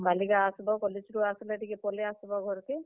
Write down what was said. ଆଉ କାଲିକା ଆସ୍ ବ college ରୁ ଆସ୍ ଲେ ଟିକେ ପଲେଇ ଆସବ ଘର୍ କେ।